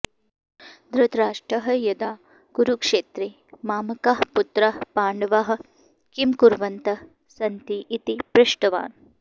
धृतराष्ट्रः यदा कुरुक्षेत्रे मामकाः पुत्राः पाण्डवाः किं कुर्वन्तः सन्ति इति पृष्टवान्